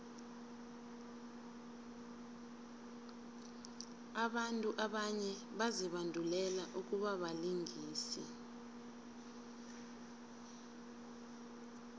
abantu abanye bazibandulele ukubabalingisi